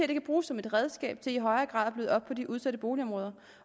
kan bruges som et redskab til i højere grad at bløde op på de udsatte boligområder